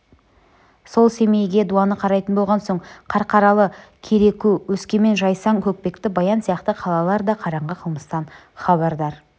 сол семейге дуаны қарайтын болған соң қарқаралы кереку өскемен жайсаң көкпекті баян сияқты қалалар да қараңғы қылмыстан хабардар